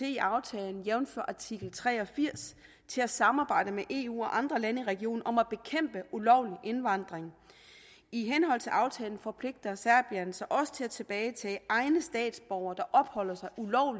i aftalen jævnfør artikel tre og firs til at samarbejde med eu og andre lande i regionen om at bekæmpe ulovlig indvandring i henhold til aftalen forpligter serbien sig også til at tilbagetage egne statsborgere der opholder sig